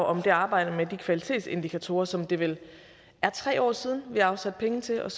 om det arbejde med de kvalitetsindikatorer som det vel er tre år siden vi afsatte penge til og